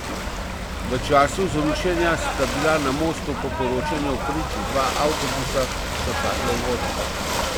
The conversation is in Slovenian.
V času zrušenja sta bila na mostu po poročanjih prič dva avtobusa, ki sta padla v vodo.